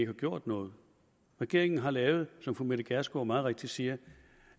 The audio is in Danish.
har gjort noget regeringen har lavet som fru mette gjerskov meget rigtigt siger